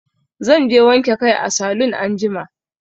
Zan je wanke kai a salun anjima.